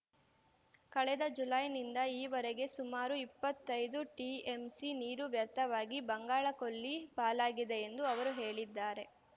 ಕಳೆದ ಜುಲೈನಿಂದ ಈವರೆಗೆ ಸುಮಾರು ಇಪ್ಪತ್ತೈದು ಟಿಎಂಸಿ ನೀರು ವ್ಯರ್ಥವಾಗಿ ಬಂಗಾಳ ಕೊಲ್ಲಿ ಪಾಲಾಗಿದೆ ಎಂದು ಅವರು ಹೇಳಿದ್ದಾರೆ